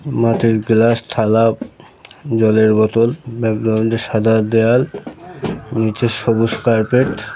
মাটির গ্লাস থালা জলের বোতল ব্যাক গ্রাউন্ড -এ সাদা দেয়াল নিচের সবুজ কার্পেট --